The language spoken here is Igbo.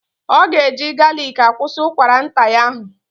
Ọ ga-eji galiki akwusi ụkwara nta ya ahụ.